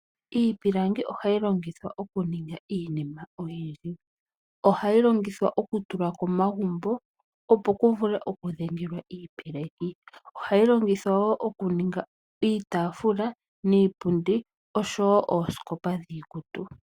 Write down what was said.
Iipilangi ohayi longithwa okuninga iinima oyindji. Ohayi longithwa oku tulwa komagumbo, opo ku vule oku dhengelwa iipeleki. Ohayi longithwa wo okuninga iitaafula niipundi oshowo oosikopa dhiikutu.